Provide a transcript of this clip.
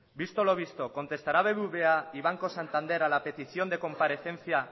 visto lo visto contestará bbva y banco santander a la petición de comparecencia